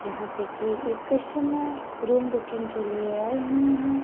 जहां पे की एक कस्टमर रूम बुकिंग के लिए आए हुए हैं।